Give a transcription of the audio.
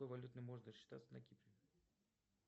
какой валютой можно рассчитаться на кипре